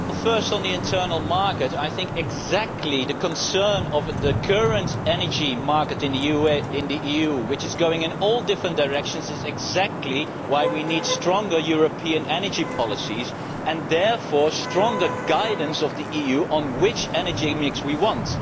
First, on the internal market, I think that concern about the current energy market in the EU, which is going in all different directions, is exactly why we need stronger European energy policies and therefore stronger guidance from the EU on which energy mix we want.